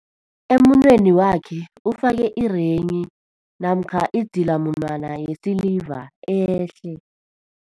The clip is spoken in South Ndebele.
Emunweni wakhe ufake irenghi namkha idzilamunwana yesiliva ehle.